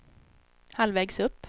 halvvägs upp